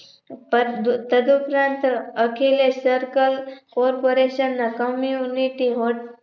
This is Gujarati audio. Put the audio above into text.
તદ ઉપરાંત અખિલેશ Circle Corporation ના Community Hall